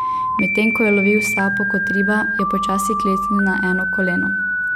Medtem ko je lovil sapo kot riba, je počasi klecnil na eno koleno.